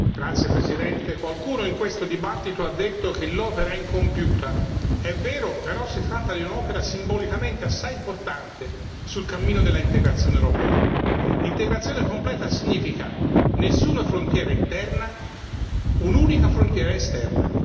Signor Presidente, onorevoli colleghi, qualcuno in questo dibattito ha detto che l'opera è incompiuta è vero, però si tratta di un'opera simbolicamente assai importante sul cammino dell'integrazione europea. Integrazione completa significa nessuna frontiera interna, un'unica frontiera esterna.